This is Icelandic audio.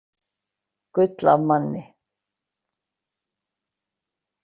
Gull af manni